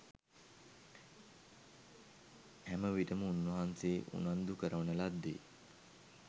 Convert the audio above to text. හැමවිටම උන්වහන්සේ උනන්දු කරවන ලද්දේ